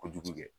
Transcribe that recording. Kojugu kɛ